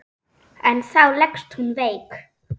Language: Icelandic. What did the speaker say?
En þá leggst hún veik.